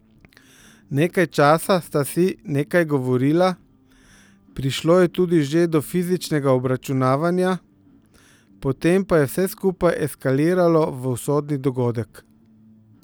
Nekaj časa sta si nekaj govorila, prišlo je tudi že do fizičnega obračunavanja, potem pa je vse skupaj eskaliralo v usodni dogodek.